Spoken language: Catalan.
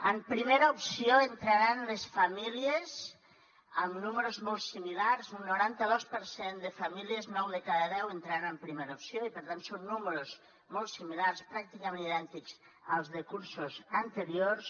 en primera opció entraran les famílies amb números molt similars un noranta dos per cent de famílies nou de cada deu entraran en primera opció i per tant són números molt similars pràcticament idèntics als de cursos anteriors